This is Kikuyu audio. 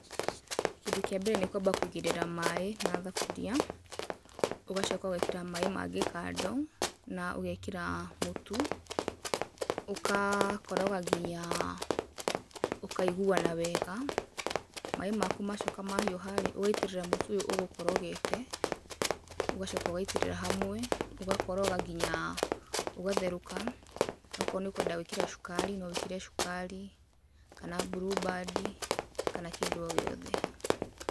Kĩndũ kĩa mbere nĩ kwamba kũigĩrĩra maĩ na thaburia, ũgacoka ũgekĩra maĩ mangĩ kando na ũgekĩra mũtu. Ũgakoroga nginya ũkaiguana wega. Maĩ maku macoka mahiũha-rĩ, ũgaitĩrĩra mũtu ũyũ ũgũkorogete, ũgacoka ũgaitĩrĩra hamwe, ũgakoroga nginya ũgatherũka. Akorwo nĩũkwenda gwĩkĩra cukari, no wĩkĩre cukari, kana Blue Band, kana kĩndũ o gĩothe.